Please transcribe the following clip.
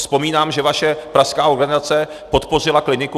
Vzpomínám, že vaše pražská organizace podpořila Kliniku.